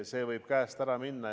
See võib käest ära minna.